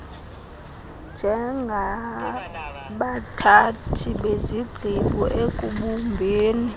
njengabathathi bezigqibo ekubumbeni